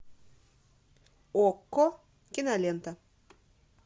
окко кинолента